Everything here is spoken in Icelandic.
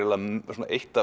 eitt